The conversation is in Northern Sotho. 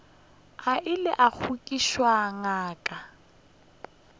a ile a goketša ngaka